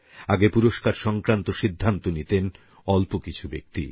আগে পুরস্কার সংক্রান্ত সিদ্ধান্ত নিতেন অল্প কিছু ব্যক্তি